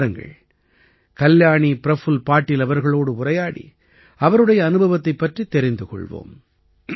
வாருங்கள் கல்யாணி பிரஃபுல்ல பாடில் அவர்களோடு உரையாடி அவருடைய அனுபவத்தைப் பற்றித் தெரிந்து கொள்வோம்